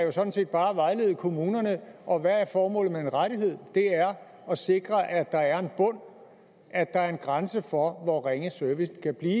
er sådan set bare at vejlede kommunerne og hvad er formålet med en rettighed det er at sikre at der er en bund at der er en grænse for hvor ringe servicen kan blive